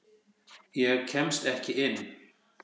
Ég kemst ekki inn.